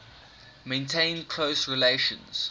maintained close relations